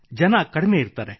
ಜನರು ಕಡಿಮೆ ಇರುತ್ತಾರೆ